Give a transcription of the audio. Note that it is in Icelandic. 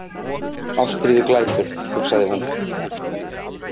Ástríðuglæpur, hugsaði hún.